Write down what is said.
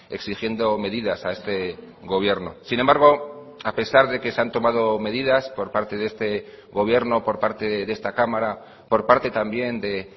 exigiendo medidas a este gobierno sin embargo a pesar de que se han tomado medidas por parte de este gobierno por parte de esta cámara por parte también de